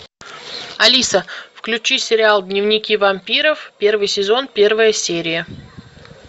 алиса включи сериал дневники вампиров первый сезон первая серия